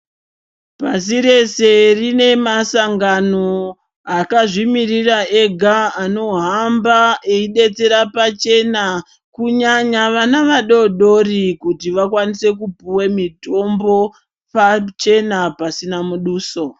Pasi rese rine masangano akazvimiririra ega anohamba eibetsera pachena kunyanya vana vadodori kuti vakwanise kupiwa mitombo pachena pasina muduso.